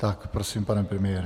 Tak prosím, pane premiére.